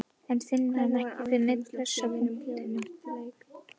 En finnur hann ekkert fyrir neinni pressu á punktinum?